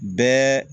Bɛɛ